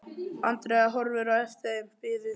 Andrea horfir á eftir þeim, biður